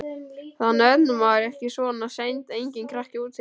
Þá nennir maður ekki út svona seint, enginn krakki úti.